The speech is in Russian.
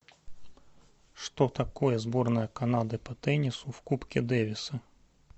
что такое сборная канады по теннису в кубке дэвиса